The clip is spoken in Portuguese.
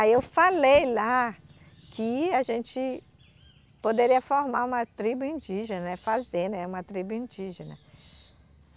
Aí eu falei lá que a gente poderia formar uma tribo indígena né , fazer né uma tribo indígena.